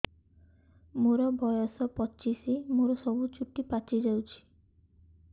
ମୋର ବୟସ ପଚିଶି ମୋର ସବୁ ଚୁଟି ପାଚି ଯାଇଛି